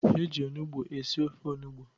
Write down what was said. E ji onugbo esi ofe onugbo.